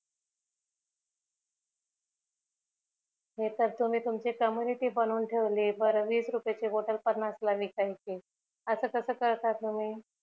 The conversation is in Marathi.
हि तर तुम्ही तुमची community बनवून ठेवली बर वीस रुपायची बॉटल पन्नास ला विकायची अस कस करता तुम्ही